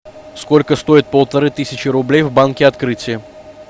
сколько стоит полторы тысячи рублей в банке открытие